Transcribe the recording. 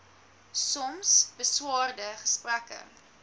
soms beswaarde gesprekke